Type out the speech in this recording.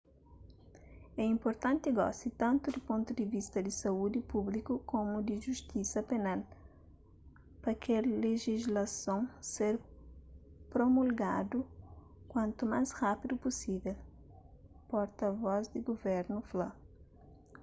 é inpurtanti gosi tantu di pontu di vista di saúdi públiku komu di justisa penal pa kel lejislason ser promulgadu kuantu más rapidu pusivel porta vos di guvernu fla